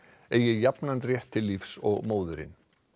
eigi jafnan rétt til lífs og móðirin